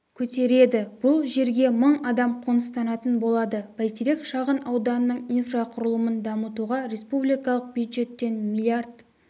көтереді бұл жерге мың адам қоныстанатын болады бәйтерек шағын ауданының инфрақұрылымын дамытуға республикалық бюджеттен млрд